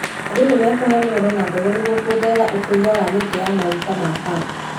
Andũ nĩmekũheo mĩgũnda na mbegũ nĩguo kuongerera ũkũria wa mĩtĩ ya maguta ma Palm